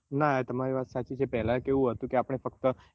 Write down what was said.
ના તમારી વાત સાચી છે પેલાં કેવું હતું આપને ફક્ત